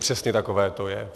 Přesně takové to je.